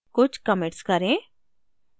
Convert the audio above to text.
कुछ commits करें